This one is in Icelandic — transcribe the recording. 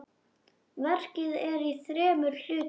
Verkið er í þremur hlutum.